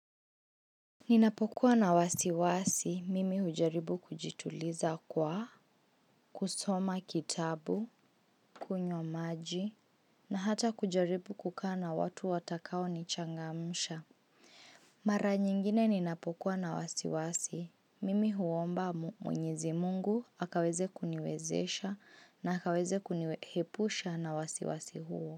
Ninapokuwa na wasiwasi, mimi hujaribu kujituliza kwa, kusoma kitabu, kunywa maji, na hata kujaribu kukaa na watu watakao nichangamsha. Mara nyingine ninapokuwa na wasiwasi, mimi huomba mwenyezi mungu, Akaweze kuniwezesha, na akaweze kuniepusha na wasiwasi huo.